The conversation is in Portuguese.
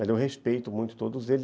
Eu respeito muito todos eles.